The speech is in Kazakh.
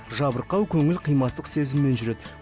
жабырқау көңіл қимастық сезіммен жүреді